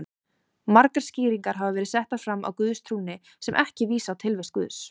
Margar skýringar hafa verið settar fram á guðstrúnni sem ekki vísa á tilvist Guðs.